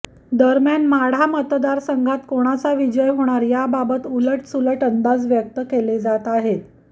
दरम्यान माढा मतदारसंघात कोणाचा विजय होणार या बाबत उलट सुलट अंदाज व्यक्त केले जात आहेत